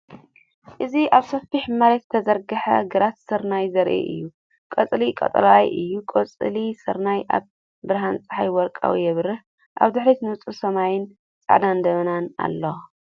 እዚ ኣብ ሰፊሕ መሬት ዝተዘርግሐ ግራት ስርናይ ዘርኢ እዩ፤ ቆጽሉ ቀጠልያ እዩ፣ ቆጽሊ ስርናይ ኣብ ብርሃን ጸሓይ ወርቃዊ ይበርህ። ኣብ ድሕሪት ንጹር ሰማይን ጻዕዳ ደበናን ኣሎ።